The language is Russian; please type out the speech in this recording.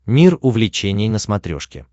мир увлечений на смотрешке